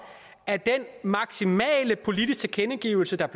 at den maksimale politiske tilkendegivelse der